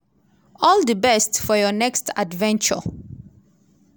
all di best for your next adventure.